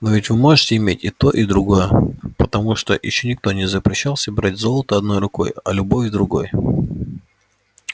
но ведь вы можете иметь и то и другое потому что ещё никто не запрещал собирать золото одной рукой а любовь другой